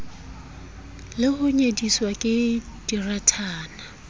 le ho nyediswa ke dirathana